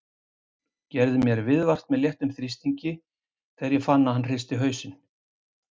Gerði mér viðvart með léttum þrýstingi sem ég fann þegar ég hristi hausinn.